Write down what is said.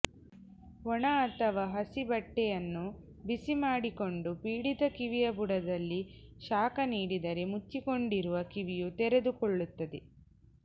ಒಣ ಅಥವಾ ಹಸಿ ಬಟ್ಟೆಯನ್ನು ಬಿಸಿ ಮಾಡಿಕೊಂಡು ಪೀಡಿತ ಕಿವಿಯ ಬುಡದಲ್ಲಿ ಶಾಖ ನೀಡಿದರೆ ಮುಚ್ಚಿಕೊಂಡಿರುವ ಕಿವಿಯು ತೆರೆದುಕೊಳ್ಳುತ್ತದೆ